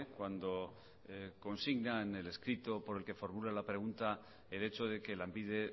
cuando consigna en el escrito por el que formula la pregunta el hecho de que lanbide